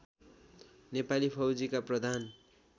नेपाली फौजीका प्रधान